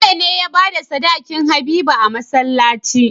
Bello ne yabada sadakin habiba a masalaci